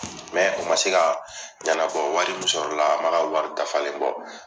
Mɛ o ma se ka ɲanabɔ wari mun sɔrɔla o m'a ka wari dafalen bɔ